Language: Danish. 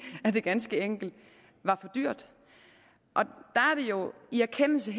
det ganske enkelt var for dyrt og det er jo i erkendelse